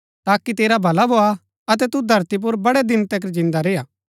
ताकि तेरा भला भोआ अतै तू धरती पुर बड़ै दिन तिकर जिन्दा रेय्आ